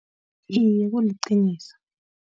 Iye kuliqiniso.